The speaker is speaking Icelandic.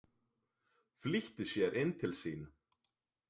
Flýtti sér inn til sín.